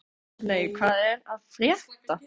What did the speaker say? Björney, hvað er að frétta?